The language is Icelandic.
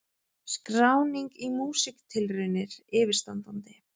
Skráning í Músíktilraunir yfirstandandi